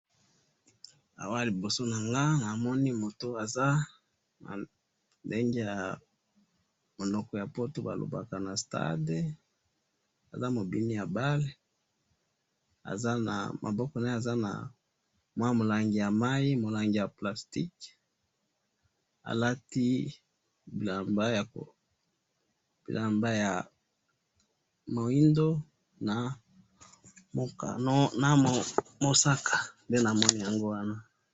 Awa liboso na nga ,namoni moto aza ndenge ya monoko ya poto balobaka na stade ,aza mobini ya balle, maboko naye aza na mwa mulangi ya mayi ,mulangi ya plastique alati bilamba ya muindo na mosaka